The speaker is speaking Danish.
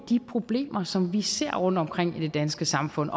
problemer som vi ser rundtomkring i det danske samfund